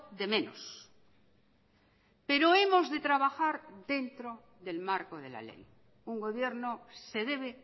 de menos pero hemos de trabajar dentro del marco de la ley un gobierno se debe